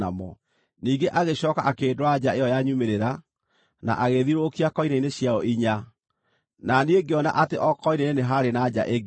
Ningĩ agĩcooka akĩndwara nja ĩyo ya nyumĩrĩra, na agĩĩthiũrũrũkia koine-inĩ ciayo inya, na niĩ ngĩona atĩ o koine-inĩ nĩ haarĩ na nja ĩngĩ.